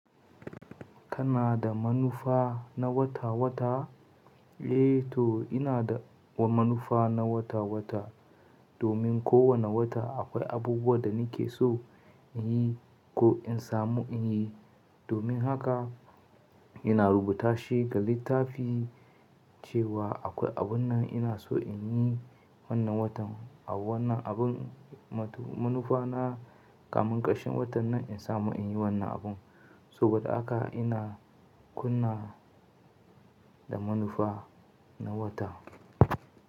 Kana da manufa na wata-wata? Eh to ina da manufa na wata-wata, domin ko wane wata akwai abubuwa da nake so in yi ko in samu in yi. Domin haka ina rubuta shi ga littafi cewa akwai abun nan ina so in yi wannan watan, a wannan abun manufa na, kamin karshen watan nan in samu in yi wannan abun. Saboda haka ina kunna da manufa na wata.